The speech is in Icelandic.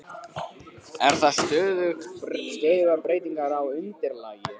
Eru það stöðugar breytingar á undirlagi?